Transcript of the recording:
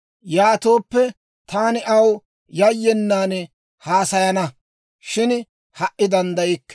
Yaatooppe, taani aw yayyenan haasayana; shin ha"i danddaykke.